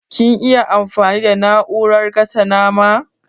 Kin iya amfani da na'urar gasa nama?